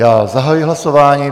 Já zahajuji hlasování.